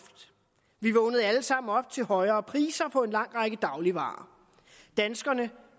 vi vågnede alle sammen op til højere priser på en lang række dagligvarer danskerne